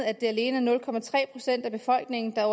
at det alene er nul procent af befolkningen der